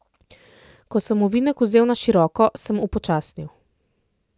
Ko sem ovinek vzel na široko, sem upočasnil.